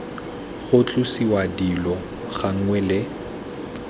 ga tlosiwa dilo gangwe le